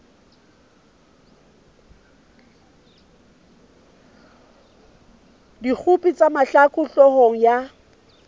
dikgopo tsa mahlaku hloohong ya